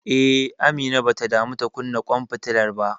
Eh, Amina bata damu ta kunna ƙwan fitilar ba.